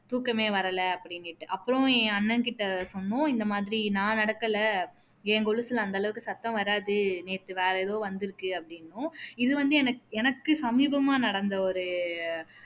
தூக்கமே வரல அப்படின்னுட்டு அப்பறம் என் அண்ணன் கிட்ட சொன்னோம் இந்த மாதிரி நான் நடக்கல என் கொலுசுல அந்த அளவுக்கு சத்தம் வராது நேத்து வேற எதோ வந்துருக்கு அப்படின்னோம் இது வந்து என எனக்கு சமீபமா நடந்த ஒரு